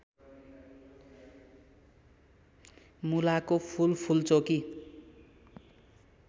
मुलाको फूल फूलचोकी